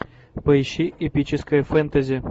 поищи эпическое фэнтези